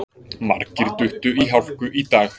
Margir duttu í hálku í dag